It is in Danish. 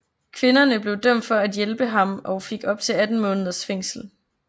Kvinderne blev dømt for at hjælpe ham og fik op til 18 måneders fængsel